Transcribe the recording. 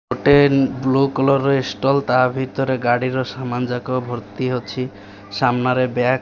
ଗୋଟେ blue colour ରେ stall ତା ଭିତରେ ଗାଡିର ଯାକ ଭର୍ତ୍ତି ଅଛି ସାମ୍ନା ରେ ବ୍ୟାଗ --